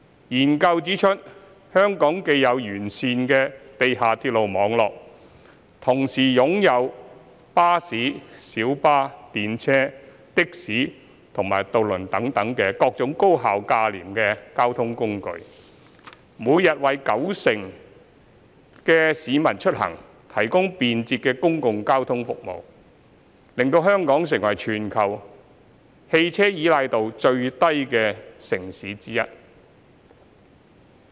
研究中指出，香港既有完善的地下鐵路網絡，同時擁有巴士、小巴、電車、的士和渡輪等各種高效價廉的交通工具，每天為九成市民出行提供便捷的公共交通服務，使香港成為全球汽車依賴度最低的城市之一。